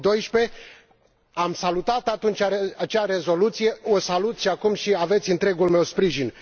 2012. Am salutat atunci acea rezoluție, o salut și acum și aveți întregul meu sprijin.